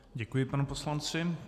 Děkuji panu poslanci.